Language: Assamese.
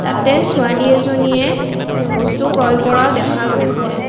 তাতে ছোৱালী এজনীয়ে বস্তু ক্ৰয় কৰাও দেখা গৈছে।